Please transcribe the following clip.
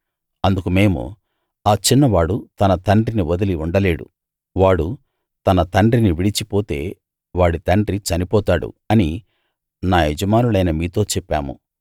అందుకు మేము ఆ చిన్నవాడు తన తండ్రిని వదిలి ఉండలేడు వాడు తన తండ్రిని విడిచి పోతే వాడి తండ్రి చనిపోతాడు అని నా యజమానులైన మీతో చెప్పాము